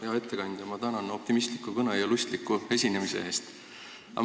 Hea ettekandja, ma tänan optimistliku kõne ja lustliku esinemise eest!